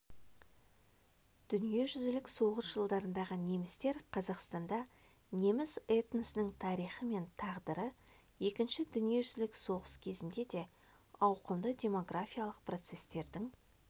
дүниежүзілік соғыс жылдарындағы немістер қазақстанда неміс этносының тарихы мен тағдыры екінші дүниежүзілік соғыс кезінде де ауқымды демографиялық процестердің